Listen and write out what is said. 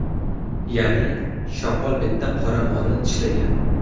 Ya’ni, shoqol bitta qora molni tishlagan.